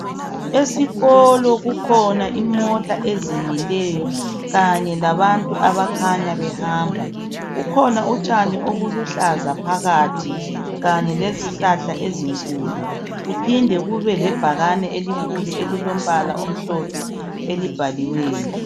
Esikolo kukhona imota ezimilileyo Kanye labantu abakhanya behamba kukhona utshani obuluhlaza phakathi Kanye lezihlahla ezinkulu kuphinde kube lebhakani elikhulu elilombala omhlophe elibhaliweyo.